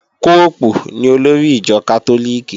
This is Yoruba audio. Póòpù ni olórí ìjọ Kátólíìkì